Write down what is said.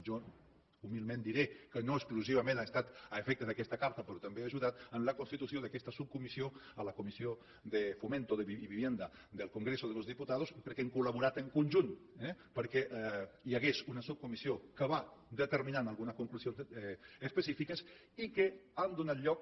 jo humilment diré que no exclusivament ha estat a efectes d’aquesta carta però també ha ajudat en la constitució d’aquesta subcomissió a la comissió de fomento y vivienda del congreso de los diputados perquè hem col·laborat en conjunt eh perquè hi hagués una subcomissió que va determinant algunes conclusions específiques i que han donat lloc